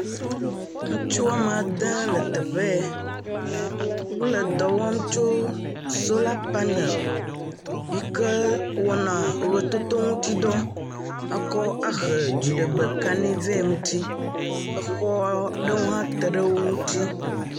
Ŋutsu woame ade le teƒe ye. Wole dɔ wɔm tso sola panel yike wɔna wototo ŋutidɔ akɔ ahe dziɖegbe kaɖi vɛ ŋuti. Exɔ aɖewo hã te ɖe wo ŋuti.